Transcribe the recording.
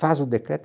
Faz o decreto.